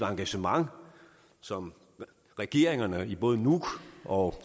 engagement som regeringerne i både nuuk og